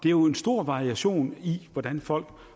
er jo en stor variation i hvordan folk